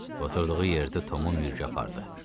Oturdğu yerdə Tomun mürgü apardı.